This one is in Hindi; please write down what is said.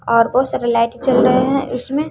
और ओ सारा लाइट जल रहे हैं उसमें--